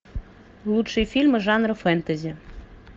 лучшие фильмы жанра фэнтези